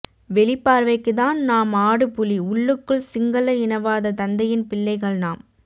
வெளி பார்வைக்கு தான் நாம் ஆடு புலி உள்ளுக்குள் சிங்கள இனவாத தந்தையின் பிள்ளைகள் நாம்